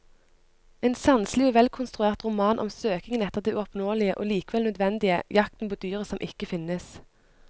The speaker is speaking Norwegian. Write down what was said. En sanselig og velkonstruert roman om søkingen etter det uoppnåelige og likevel nødvendige, jakten på dyret som ikke finnes.